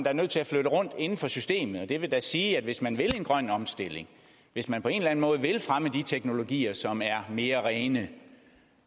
er nødt til at flytte rundt inden for systemet og det vil da sige at hvis man vil have en grøn omstilling hvis man på en måde vil fremme de teknologier som er mere rene